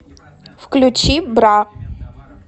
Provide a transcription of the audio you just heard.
включи бра